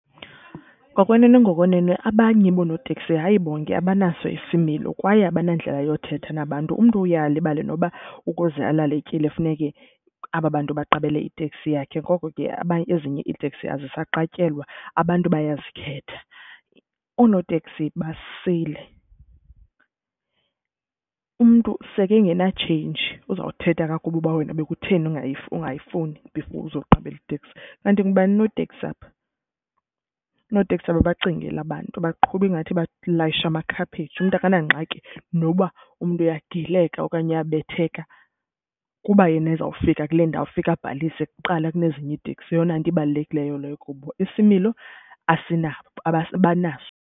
Ngokwenene ngokwenene abanye bonooteksi, hayi bonke, abanaso isimilo kwaye abanandlela yokuthetha nabantu. Umntu uye alibale noba ukuze alale etyile funeke aba bantu baqabela iteksi yakhe, ngoko ke ezinye iiteksi azisaqatyelwa, abantu bayazikhetha. Oonoteksi basilele. Umntu sekengenatsheyinji uzawuthetha kakubi uba wena bekutheni ungayifuni before uzoqabela iteksi. Kanti ngokubana unoteksi apha? Oonoteksi ababacingeli abantu, baqhuba ingathi balayishe amakhaphetshu. Umntu akanangxaki noba umntu uyagileka okanye uyabetheka kuba yena ezawufika kule ndawo afika abhalise kuqala kunezinye iitekisi, yeyona nto ibalulekileyo leyo kubo. Isimilo asinabo, abanaso.